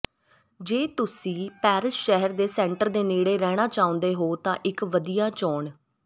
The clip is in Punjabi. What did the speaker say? ਜੇ ਤੁਸੀਂ ਪੈਰਿਸ ਸ਼ਹਿਰ ਦੇ ਸੈਂਟਰ ਦੇ ਨੇੜੇ ਰਹਿਣਾ ਚਾਹੁੰਦੇ ਹੋ ਤਾਂ ਇੱਕ ਵਧੀਆ ਚੋਣ